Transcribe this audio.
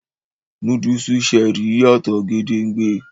Núdúùsù Cherie yàtò gédéńgbé